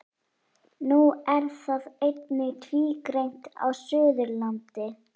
Nú er það einnig tvígreint á Suðurlandi.